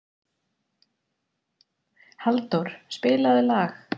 Halldór, spilaðu lag.